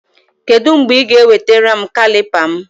Kedụ mgbe Ị ga ewetara m kalịpa m?